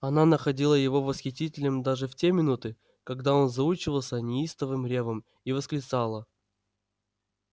она находила его восхитительным даже в те минуты когда он заучивался неистовым рёвом и восклицала